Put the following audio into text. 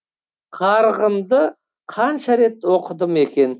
қарғынды қанша рет оқыдым екен